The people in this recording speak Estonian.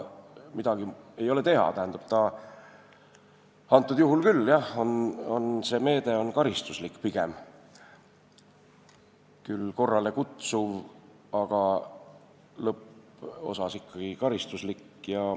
Midagi ei ole teha, jah, see meede on pigem karistuslik, küll korrale kutsuv, aga lõpposas ikkagi karistuslik.